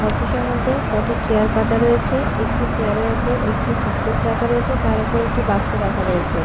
Office -এ মধ্যে কটি চেয়ার পাতা রয়েছে একটি চেয়ার -এর ওপর একটি সুটকেস রাখা রয়েছে তার ওপর একটি বাক্স রাখা রয়েছে।